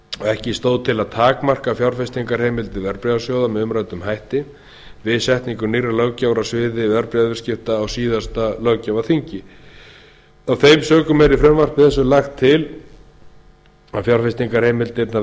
ekki stóð til að takmarka fjárfestingarheimildir verðbréfasjóða með umræddum hætti við setningu nýrrar löggjafar á sviði verðbréfaviðskipta á síðasta löggjafarþingi af þeim sökum er í frumvarpi þessu lagt til að fjárfestingarheimildirnar